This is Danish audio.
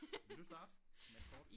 Vil du starte med et kort?